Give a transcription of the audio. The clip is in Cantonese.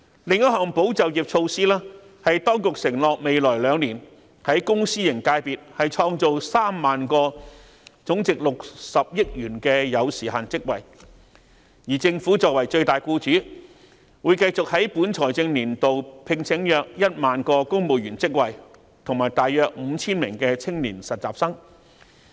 另一項保就業措施是當局承諾在未來兩年，在公私營界別創造3萬個總值60億元的有時限職位，而政府作為最大僱主，會繼續在本財政年度聘請約1萬個公務員職位及大約 5,000 名青年實習生。